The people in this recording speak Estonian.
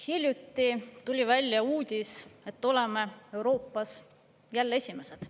Hiljuti tuli välja uudis, et oleme Euroopas jälle esimesed.